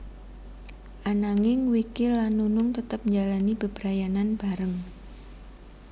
Ananging Wiki lan Nunung tetep njalani bebrayanan bareng